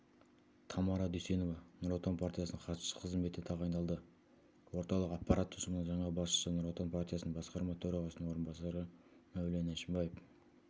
тамара дүйсенова нұр отан партиясының хатшысы қызметіне тағайындалды орталық аппарат ұжымына жаңа басшыны нұр отан партиясының басқарма төрағасының орынбасары мәулен әшімбаев